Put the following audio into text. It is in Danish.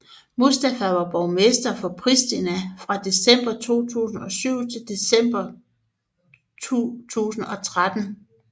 Mustafa var borgmester for Pristina fra december 2007 til december 2013